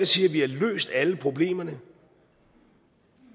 siger at vi har løst alle problemerne